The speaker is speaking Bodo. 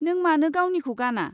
नों मानो गावनिखौ गाना?